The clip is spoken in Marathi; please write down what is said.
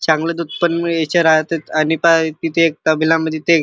चांगल दुध पण मिळाचे राहतात आणि पहा इथे एक तबला म्हणजे ते--